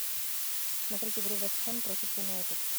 смотреть игру вест хэм против юнайтед